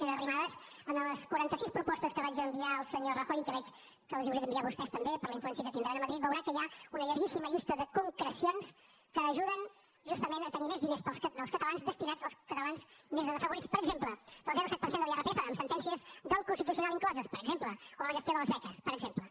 senyora arrimadas en les quaranta sis propostes que vaig enviar al senyor rajoy i que veig que els les hauré d’enviar a vostès també per la influència que tindran a madrid veurà que hi ha una llarguíssima llista de concrecions que ajuden justament a tenir més diners dels catalans destinats als catalans més desafavorits per exemple del zero coma set per cent de l’irpf amb sentències del constitucional incloses per exemple o la gestió de les beques per exemple